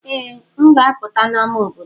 Ee, m ga-apụta n'ámá obodo.